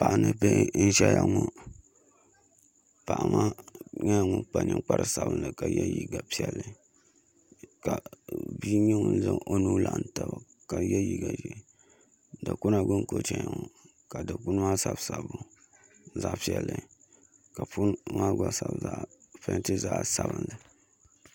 Paɣa ni bihi n ʒɛya ŋɔ paɣa maa nyɛla ŋun kpa ninkpari sabinli ka yɛ liiga piɛlli ka bia nyɛ ŋun zaŋ o nuu laɣam taba ka yɛ liiga ʒiɛ dikpuna gbuni ka o chɛni ŋɔ ka dikpuna maa sabi sabbu zaɣ piɛlli ka punti maa gba peenti zaɣ sabinli